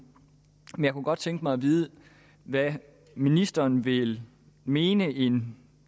men jeg kunne godt tænke mig at vide hvad ministeren vil mene en